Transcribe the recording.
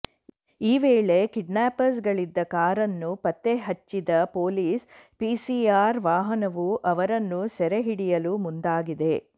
ಈ ವೇಳೆ ಕಿಡ್ನ್ಯಾಪ್ರ್ಸ್ಗಳಿದ್ದ ಕಾರನ್ನು ಪತ್ತೆ ಹಚ್ಚಿದ ಪೊಲೀಸ್ ಪಿಸಿಆರ್ ವಾಹನವು ಅವರನ್ನು ಸೆರೆ ಹಿಡಿಯಲು ಮುಂದಾಗಿದೆ